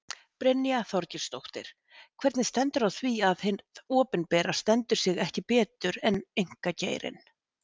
Brynja Þorgeirsdóttir: Hvernig stendur á því að hið opinbera stendur sig ekki betur en einkageirinn?